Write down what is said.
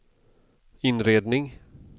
inredning